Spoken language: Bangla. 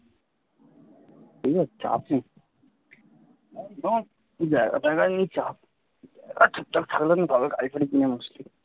তোর আর চাপ নেই জায়গা ফায়গা নিয়ে চাপ থাকলে ভালো গাড়ি ফারি কেনা মুশকিল